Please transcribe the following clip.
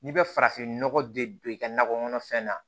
N'i bɛ farafinnɔgɔ de don i ka nakɔ kɔnɔfɛn na